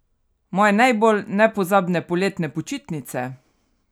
Moje najbolj nepozabne poletne počitnice?